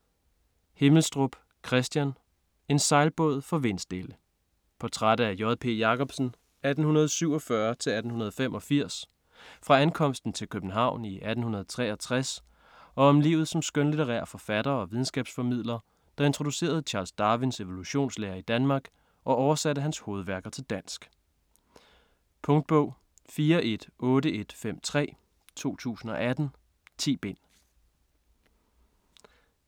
Himmelstrup, Kristian: En sejlbåd for vindstille Portræt af J. P. Jacobsen (1847-1885) fra ankomsten til København i 1863 og om livet som skønlitterær forfatter og videnskabsformidler, der introducerede Charles Darwins evolutionslære i Danmark og oversatte hans hovedværker til dansk. Punktbog 418153 2018. 10 bind.